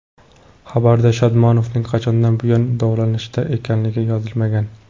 Xabarda Shodmonovning qachondan buyon davolanishda ekanligi yozilmagan.